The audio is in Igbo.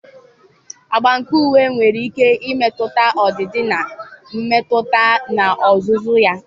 agba nke uwe nwere ike imetụta ọdịdị na mmetụta n'ozuzu ya.